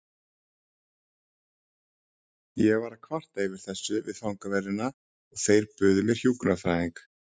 Ég var að kvarta yfir þessu við fangaverðina og þeir buðu mér hjúkrunarfræðing.